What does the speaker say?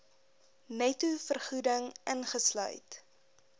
netto vergoeding ingesluit